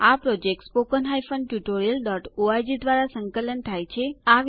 આ યોજના httpspoken tutorialorg દ્વારા સંકલન થાય છે